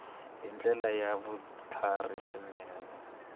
hi ndlela ya vutlhari swinene